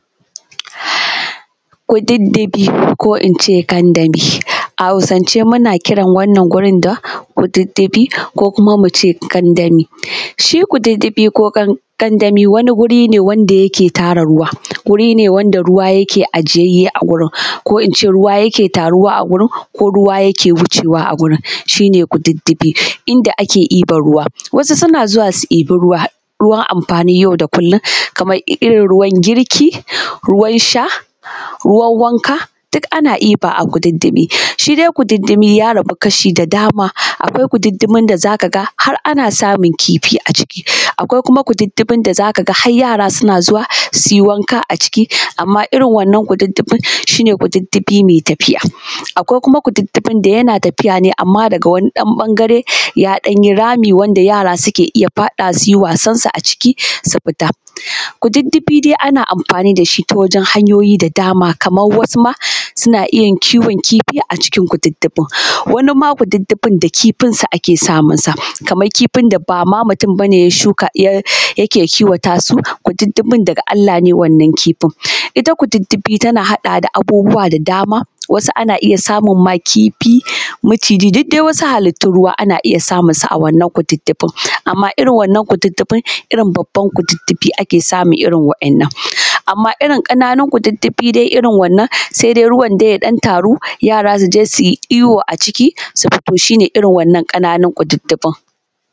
Kududdufi ko ince kandami, a Hausance muna kiran wannan wurin da Kududdufi ko ince kandami shi kududdufi ko kandami wani guri ne wanda yake tara ruwa guri ne wanda ruwa yake ajiyayye a gurin ko ince ruwa yake taruwa a gurin ko ruwa yake wucewa a gurin shi ne kududdufi inda ake ɗiban ruwa, wasu suna zuwa su ɗibi ruwa ruwan amfani yau da kullum kamar irin ruwan girki, ruwan sha, ruwan wanka du kana ɗiba a kududdufi, shi dai kududdufi ya rabu kasha da dama, akwai kududdufin da zaka ga har ana samun kifi a ciki, akwai kuma kududdufin da har yara suna zuwa suyi wanka a ciki amma irin wannan kududdufin shi ne kududdufi mai tafiya, akwai kuma kududdufin da yana tafiya amma daga wani ɗan ɓangare ya ɗan yi rami wanda yara suke iya fadawa suyi wasan su a ciki su fita, kududdufi dai ana amfani da shi ta wajen hanyoyi da dama kamar wasu ma suna iya kiwon kifi a cikin kududdufin, wani ma kududdufin da kifinsu ake samunsa kamar kifin da bama mutum yake kiwata su, kududdufin daga Allah ne wannan kifin, ita kududdufi tana haɗa da abubuwa da dama wasu ana iya samun ma kifi maciji duk dai wasu hallitu ruwa ana iya samunsu a wannan kududdufin amma irin wannan kududdufin irin babban kududdufi ake samun irin waɗannan amma irin kananun kududdufi dai irin wannan sai dai ruwan ya dan taru yara su je suyi iyo a ciki su fito shi ne irin wannan kananun kududdufin.